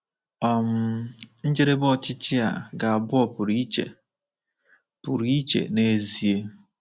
um njedebe ọchịchị a ga-abụ ọ pụrụ iche pụrụ iche n’ezie.